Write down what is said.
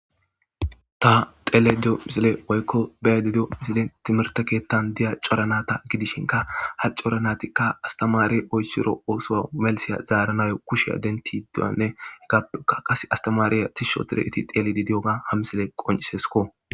ta xeleydiyo misile woykko beyadidiyo misile timirtekeettan diya coranata gidishinka ha coranatikka astamaari oyssiro oosoa melisiya zaaranayo kushea dentiduanne he gappekka qas astamaariya tishsho tireeti teeledi diyoga ha misile qoncisesko